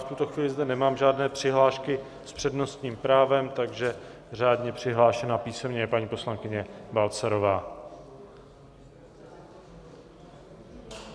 V tuto chvíli zde nemám žádné přihlášky s přednostním právem, takže řádně přihlášená písemně je paní poslankyně Balcarová.